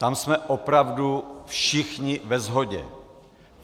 Tam jsme opravdu všichni ve shodě.